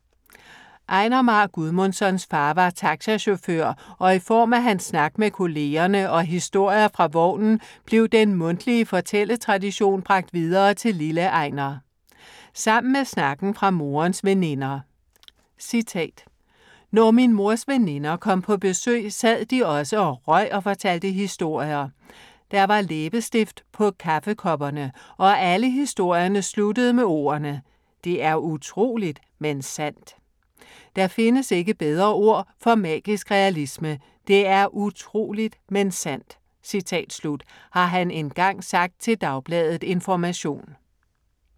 Einar Már Guðmundssons far var taxachauffør og i form af hans snak med kollegerne og historier fra vognen blev den mundtlige fortælletradition bragt videre til lille Einar. Sammen med snakken fra morens veninder: "Når min mors veninder kom på besøg sad de også og røg og fortalte historier. Der var læbestift på kaffekopperne. Og alle historierne sluttede med ordene: Det er utroligt, men sandt. Der findes ikke bedre ord for magisk realisme. Det er utroligt, men sandt." har han engang sagt til Dagbladet Information.